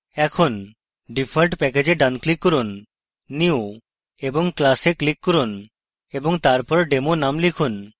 এখন default package এ ডান click করুন new> class এ click করুন এবং তারপর demo name লিখুন